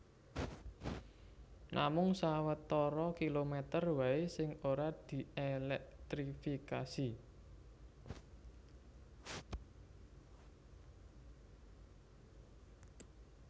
Namung sawetara kilomèter waé sing ora dièlèktrifikasi